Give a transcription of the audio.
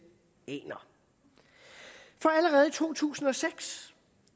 aner for allerede i to tusind og seks